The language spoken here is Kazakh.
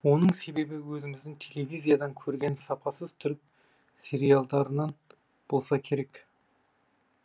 оның себебі өзіміздің телевизиядан көрген сапасыз түрік сериалдарынан болса керек